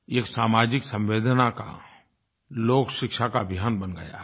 ये एक सामाजिक संवेदना का लोकशिक्षा का अभियान बन गया है